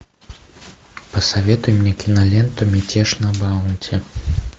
посоветуй мне киноленту мятеж на баунти